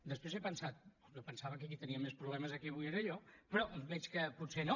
després he pensat jo em pensava que qui tenia més problemes aquí avui era jo però veig que potser no